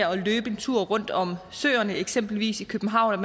at løbe en tur rundt om søerne i eksempelvis københavn